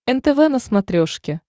нтв на смотрешке